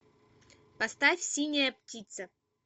поставь синяя птица